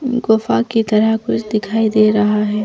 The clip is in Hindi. गुफा की तरह कुछ दिखाई दे रहा है।